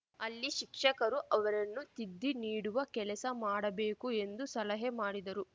ಅಲ್ಲಿ ಶಿಕ್ಷಕರು ಅವರನ್ನು ತಿದ್ದಿ ನೀಡುವ ಕೆಲಸ ಮಾಡಬೇಕು ಎಂದು ಸಲಹೆ ಮಾಡಿದರು